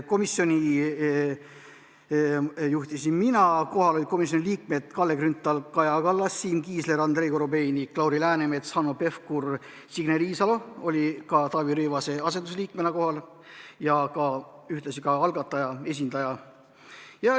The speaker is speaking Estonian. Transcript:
Komisjoni istungit juhtisin mina, kohal olid komisjoni liikmed Kalle Grünthal, Kaja Kallas, Siim Kiisler, Andrei Korobeinik, Lauri Läänemets, Hanno Pevkur ning Signe Riisalo oli ka Taavi Rõivase asendusliikmena ja ühtlasi algataja esindajana kohal.